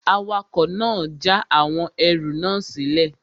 Awakọ̀ náà n já àwọn ẹrù náà sílẹ̀